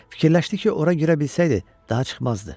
Fikirləşdi ki, ora girə bilsəydi, daha çıxmazdı.